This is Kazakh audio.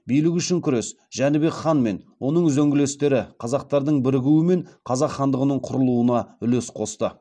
билік үшін күрес жәнібек хан мен оның үзеңгілестері қазақтардың бірігуі мен қазақ хандығының құрылуына үлес қосты